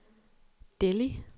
Delhi